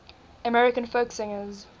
american folk singers